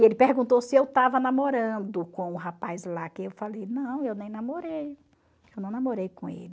E ele perguntou se eu estava namorando com o rapaz lá, que eu falei, não, eu nem namorei, eu não namorei com ele.